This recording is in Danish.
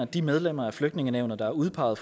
de medlemmer af flygtningenævnet der er udpeget